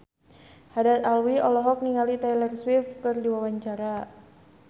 Haddad Alwi olohok ningali Taylor Swift keur diwawancara